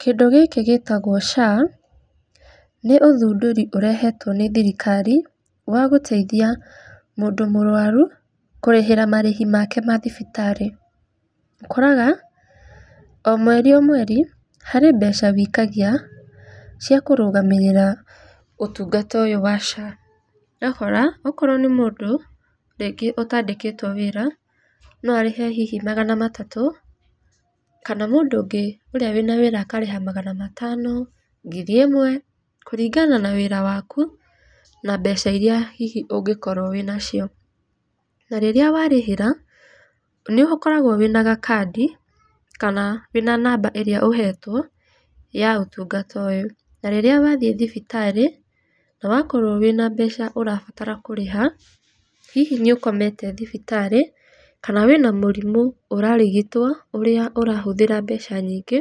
Kĩndũ gĩkĩ gĩtagwo SHA, nĩ ũthundũri ũrehetwo nĩ thirikari wa gũteithia mũndũ mũrwaru kũrĩhĩra marĩhi make ma thibitarĩ. Ũkoraga, o mweri o mweri harĩ mbeca wĩikagia cia kũrũgamĩrĩra ũtungata ũyũ wa SHA. Ũgakora okorwo nĩ mũndũ rĩngĩ ũtandĩkĩtwo wĩra no arĩhe hihi magana matatũ kana mũndũ ũngĩ ũrĩa wĩna wĩra akarĩha magana matano, ngiri ĩmwe kũringana na wĩra waku na mbeca iria hihi ũngikorwo wĩna cio, na rĩrĩa warĩhĩra nĩ ukoragwo wĩna gakandi kana wĩna namba ĩrĩa ũhetwo ya ũtungata ũyũ na rĩrĩa wathĩe thibitarĩ na wakorwo wĩna mbeca ũrabatara kũrĩha hihi nĩ ũkomete thibitarĩ kana wĩna mũrimũ ũrarigitwo ũrĩa ũrahũthĩra mbeca nyingĩ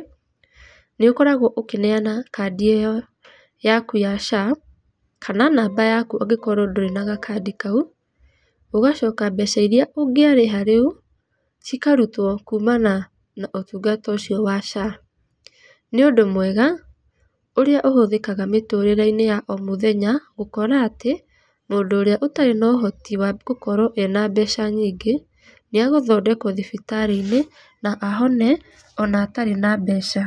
nĩũkoragwo ũkĩneana kandĩ ĩyo yaku ya SHA, kana namba yaku ũngĩkorwo ndũrĩ na gakandi kau ũgacoka mbeca iria ũngĩarĩha rĩu cikarutwo kũmana na ũtungata ũcio wa SHA. Nĩ ũndũ mwega ũrĩa ũhũthĩkaga mitũrĩre-inĩ ya o mũthenya gũkora atĩ mũndũ ũrĩa ũtarĩ na ũhoti wa gũkorwo ena mbeca nyingĩ nĩ egũthondekwo thibitarĩ-inĩ na ahone ona atarĩ na mbeca.